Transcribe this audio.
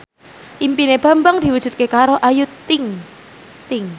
impine Bambang diwujudke karo Ayu Ting ting